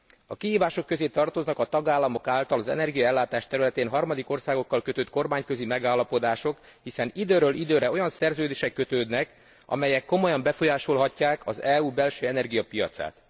A kihívások közé tartoznak a tagállamok által az energiaellátás területén harmadik országokkal kötött kormányközi megállapodások, hiszen időről időre olyan szerződések jönnek létre, amelyek komolyan befolyásolhatják az EU belső energiapiacát.